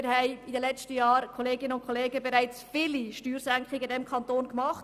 Wir haben in den letzten Jahren bereits viele Steuersenkungen in diesem Kanton gemacht.